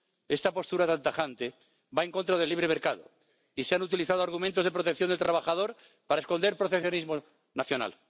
Esta postura tan tajante va en contra del libre mercado, y se han utilizado argumentos de protección del trabajador para esconder proteccionismo nacional.